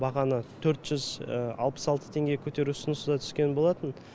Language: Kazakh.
бағаны төрт жүз алпыс алты теңгеге көтеру ұсынысы да түскен болатын